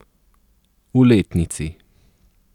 V letnici.